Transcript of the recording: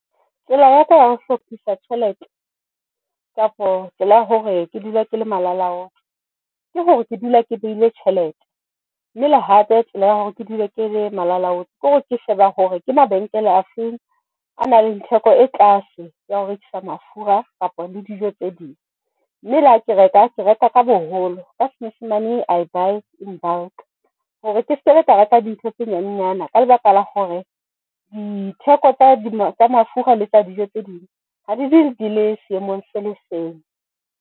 Tsela ya ka ya ho hlophisa tjhelete kapo tsela ya hore ke dule ke le malala laotswe ke hore ke dule ke behile tjhelete mme le hape tsela ya hore ke dula ke le malala a laotswe kore ke sheba hore ke mabenkele a feng a na le theko e tlase ya ho rekisa mafura kapa le dijo tse ding. Mme le ha ke reka, ke reka ka boholo ka senyesemane I buy in bulk hore ke se re ka reka dintho tse nyanenyana ka lebaka la hore ditheko tsa mafura le dijo tse ding ha di dule di le seemong se le seng.